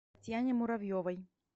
татьяне муравьевой